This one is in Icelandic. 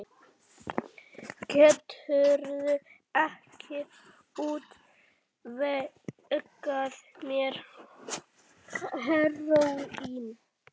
Geturðu ekki útvegað mér heróín?